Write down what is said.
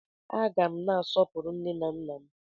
A gá m na-asọpụrụ nne na nna m